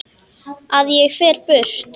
Að ég fer burt.